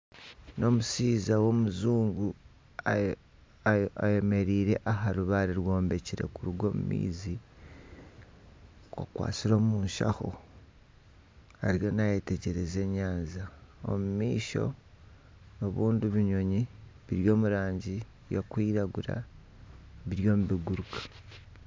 Ni omushaija w'omujungu ayemereire aha rubaare rwombekire kuruga omu maizi. Akwatsire omu shaho ariyo nayetegyereza enyanja. Omu maisho ni ebindi ebinyonyi biri omu rangi erikwiragura biriyo nibiguruka.